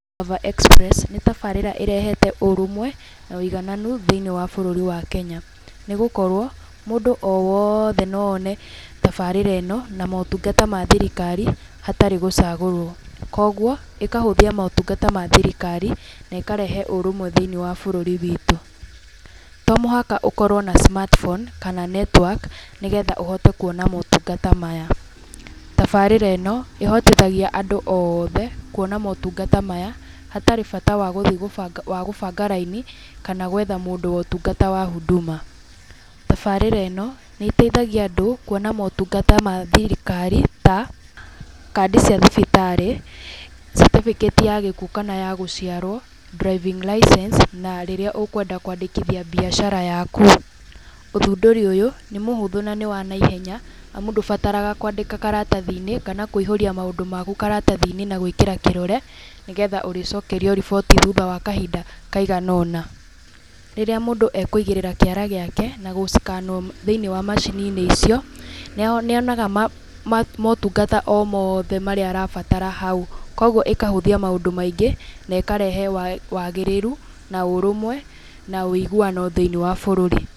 Gava Express, nĩ tabarĩra ĩrehete ũrũmwe na ũigananu thĩiniĩ wa bũrũri wa Kenya, nĩgũkorwo mũndũ o wothe no one tabarĩra ĩno na motungata ma thirikari hatarĩ gũcagũrwo, koguo ĩkahũthia motungata ma thirikari na ĩkarehe ũrũmwe thĩiniĩ wa bũrũri witũ. To mũhaka ũkorwo na smartphone kana network nĩgetha ũhote kuona motungata maya. Tabarĩra ĩno ĩhotithagia andũ othe kuona motungata maya hatarĩ bata wa gũthiĩ gũbanga raini, kana gwetha mũndũ wa ũtungata wa Huduma. Tabarĩra ĩno nĩ ĩteithagia andũ kuona motungata ma thirikari ta kandi cia thibitarĩ, catĩbĩkĩti ya gĩkuũ kana ya gũciarwo, driving license na rĩrĩa ũkwenda kwandĩkithia mbiacara yaku. Ũthundũri ũyũ, nĩ mũhũthũ na nĩ wanaihenya, amu ndũbataraga kwandĩka karatathi-inĩ kana kũihũria maũndũ maku karatathi-inĩ na gwĩkĩra kĩrore, nĩgetha ũrĩcokerio riboti thutha wa kahinda kaigana ũna. Rĩrĩa mũndũ akũigĩrĩra kĩara gĩake na gũcikanwo thĩiniĩ wa macini-inĩ icio, nĩonaga motungata mothe marĩa arabatara hau, koguo ĩkahũthia maũndũ maingĩ, nekarehe wagĩrĩru, na ũrũmwe na ũiguano thĩiniĩ wa bũrũri.